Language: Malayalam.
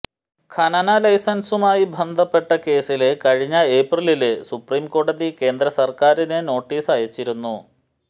ഖനന ലൈസന്സുമായി ബന്ധപ്പെട്ട കേസില് കഴിഞ്ഞ ഏപ്രിലില് സുപ്രീംകോടതി കേന്ദ്രസര്ക്കാരിന് നോട്ടീസ് അയച്ചിരുന്നു